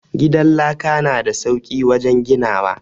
Gidan laka na da sauki wajen ginawa.